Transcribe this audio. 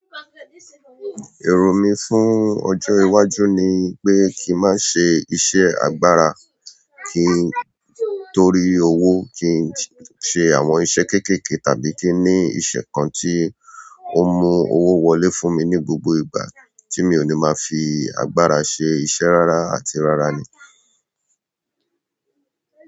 Èrò mí fún ọjọ́ iwájú ni pé kí n má ṣe iṣẹ́ agbára kí n torí owó kí n ṣe àwọn iṣẹ́ keekeekee tàbí kí n ní iṣẹ́ kan tí o mú owó wọlé fún mi ní gbogbo ìgbà tí mi ò ní máa fi agbára ṣe iṣẹ́ rárá àti rárá ni.